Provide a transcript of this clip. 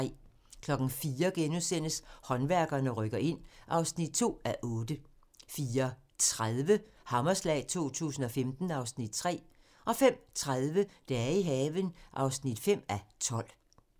04:00: Håndværkerne rykker ind (2:8)* 04:30: Hammerslag 2015 (Afs. 3)* 05:30: Dage i haven (5:12)